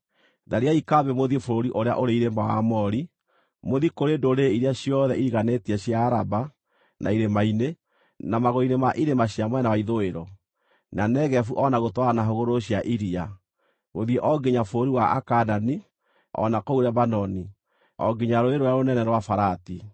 Thariai kambĩ mũthiĩ bũrũri ũrĩa ũrĩ irĩma wa Aamori; mũthiĩ kũrĩ ndũrĩrĩ iria ciothe iriganĩtie cia Araba, na irĩma-inĩ, na magũrũ-inĩ ma irĩma cia mwena wa ithũĩro, na Negevu o na gũtwarana na hũgũrũrũ cia iria, gũthiĩ o nginya bũrũri wa Akaanani, o na kũu Lebanoni, o nginya rũũĩ rũrĩa rũnene rwa Farati.